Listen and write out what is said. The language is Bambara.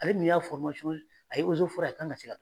Ale min y'a fɔrimasɔn a ye o ze forɛ ye a kan ka se ka